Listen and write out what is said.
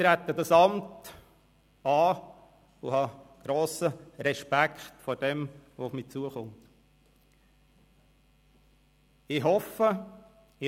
Ich trete das Amt an und habe grossen Respekt vor dem, was auf mich zukommen wird.